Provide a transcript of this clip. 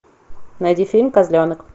найди фильм козленок